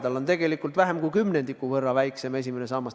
Tal on tegelikult vähem kui kümnendiku võrra väiksem esimene sammas.